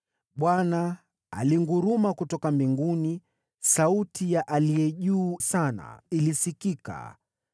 Bwana alinguruma kutoka mbinguni, sauti ya Aliye Juu Sana ilisikika.